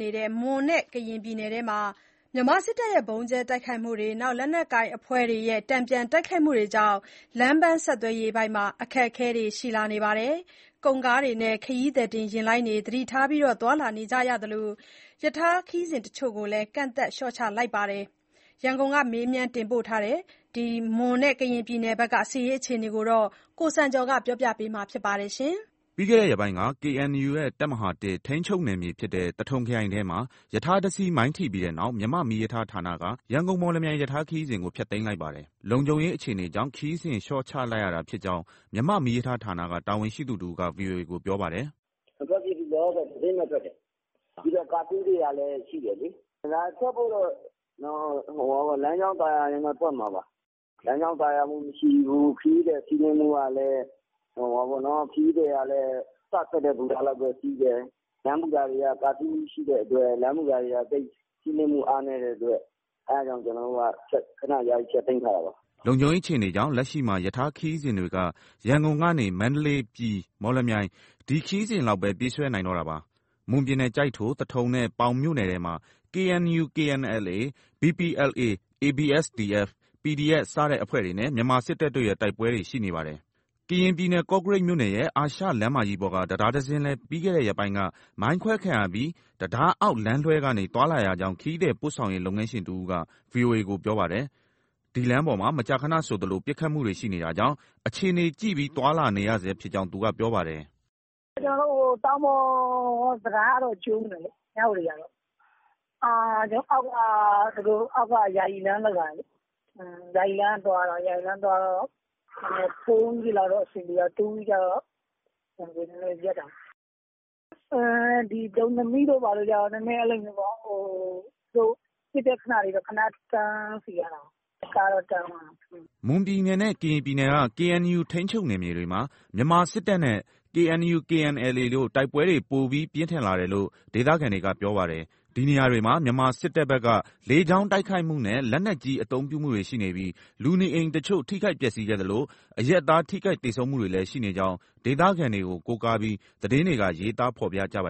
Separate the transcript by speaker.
Speaker 1: နေတဲ့ မွန်နဲ့ကရင်ပြည်နယ်ထဲမှာ မြန်မာစစ်တပ်ရဲ့ဗုံးကြဲတိုက်ခိုက်မှု၊ လက်နက်ကိုင်အဖွဲ့တွေရဲ့ တန်ပြန်တိုက်ခိုက်မှုတွေကြောင့် လမ်းပန်းဆက်သွယ်ရေး အခက် အခဲရှိလာပါတယ်။ ကုန်ကားတွေနဲ့ ခရီးသည်ယာဉ်လိုင်းတွေ သတိထားသွားလာနေကြရသလို ရထားခရီးစဉ်တချို့ကို ကန့်သတ်လျှော့ချလိုက်ပါတယ်။ ရန်ကုန်ကမေးမြန်း ပေးပို့လာတာကို ကိုစံကျော်က တင်ပြပေးထားပါတယ်။
Speaker 2: ပြီးခဲ့တဲ့ရက်ပိုင်းက KNU ရဲ့ တပ်မဟာ ထိန်းချုပ်နယ်မြေဖြစ်တဲ့ သထုံခရိုင်ထဲမှာ ရထားတစီး မိုင်းထိပြီးတဲ့နောက် မြန်မာ့မီးရထားဌာနက ရန်ကုန်-မော်လမြိုင် ညရထားခရီးစဉ်ကို ဖျက်သိမ်းလိုက်ပါတယ်။ လုံခြုံရေး အခြေအနေကြောင့် ခရီးစဉ်လျှော့ချလိုက်ရတာဖြစ်ကြောင်း မြန်မာ့မီးရထားဌာနက တာဝန်ရှိသူတဦးက ဗွီအိုအေကို ပြောပါတယ်
Speaker 3: ။ " မထွက်ဖြစ်ဘူး။ လောလောဆယ် တစင်းပဲထွက်တယ်။ ပြီးတော့ Curfew တွေကလည်း ရှိတယ်လေ။ လမ်းကြောင်းသာယာရင်တော့ ထွက်မှာပါ။ လမ်းကြောင်း သာယာမှုမရှိဘူး၊ ခရီးသည် စီးနင်းမှုကလည်း စထွက်တဲ့ဘူတာလောက်ပဲ စီးတယ်။ လမ်းဘူတာတွေက ကာဖျူးရှိတဲ့အတွက် စီးနင်းမှု အားနည်းတဲ့အတွက် ကျနော်တို့က ခဏယာယီ ဖျက်
Speaker 2: သိမ်းထားတာပါ။" လုံခြုံရေးအခြေအနေကြောင့် လက်ရှိမှာ ရထားခရီးစဉ်တွေက ရန်ကုန်ကနေ မန္တလေး၊ ပြည်၊ မော်လမြိုင် ဒီခရီးစဉ်လောက်ပဲ ပြေးဆွဲနိုင်တော့တာပါ။ မွန်ပြည်နယ် ကျိုက်ထို၊ သထုံနဲ့ ပေါင်မြို့နယ်ထဲမှာ KNU/ KNLA၊ BPLA၊ ABSDF၊ PDF စတဲ့အဖွဲ့တွေနဲ့ မြန်မာစစ်တပ်တို့ရဲ့တိုက်ပွဲတွေ ရှိနေပါတယ်။ ကရင်ပြည်နယ်၊ ကော့ကရိတ်မြို့နယ်ရဲ့ အာရှလမ်းမကြီးပေါ်က တံတားတစင်းလည်း ပြီးခဲ့တဲ့ရက်ပိုင်းက မိုင်းခွဲခံရပြီး တံတားအောက် လမ်းလွှဲကနေ သွားလာရကြောင်း ခရီးသည်ပို့ဆောင်ရေး လုပ်ငန်းရှင်တဦးက ဗွီအိုအေကို ပြောပါတယ်။ ဒီလမ်းပေါ်မှာ မကြာခဏဆိုသလို ပစ်ခတ် မှုတွေ ရှိနေတာကြောင့် အခြေအနေကြည့်ပြီး သွားလာနေရဆဲဖြစ်ကြောင်း သူကပြောပါတယ်။
Speaker 4: " ကျနော်တို့ တောင်ပေါ်တံတားကတော့ ကျိုးနေတယ်လေ၊ မြဝတီကတော့။ အောက်က ယာယီလမ်းလုပ်ထားတယ်၊ ယာယီလမ်းက သွားရတော့ 4wheel တွေလောက်တော့ အဆင်ပြေတာပေါ့၊ တူးဝှီးကြတော့ နည်နည်းရပ်တာပေါ့။ ဒီ ဒုံသနိတို့ ဘာတို့ကြတော့ နည်းနည်း ပစ်တဲ့ခဏလေးတော့ ခဏတန်းစီရတာပေါ့၊ ကားတော့ တန်းသွားတာ
Speaker 2: ပေါ့။" မွန်ပြည်နယ်နဲ့ ကရင်ပြည်နယ်က KNU ထိန်းချုပ် နယ်မြေတွေမှာ မြန်မာစစ်တပ်နဲ့ KNU/KNLA တို့ တိုက်ပွဲတွေ ပိုပြီးပြင်းထန်လာတယ်လို့ ဒေသခံတွေက ပြောပါတယ်။ ဒီနေရာတွေမှာ မြန်မာစစ်တပ်ဘက်က လေကြောင်းတိုက်ခိုက်မှုနဲ့ လက်နက်ကြီး အသုံးပြုမှုတွေရှိနေပြီး လူနေအိမ်တချို့ ထိခိုက်ပျက်စီးခဲ့သလို အရပ်သားတွေ ထိခိုက်သေဆုံးနေကြောင်း ဒေသခံတွေကို ကိုးကားပြီး သတင်းတွေက ရေးသား ဖော်ပြကြပါ